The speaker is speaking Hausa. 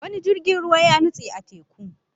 Wani jirgin ruwa ya nutse a teku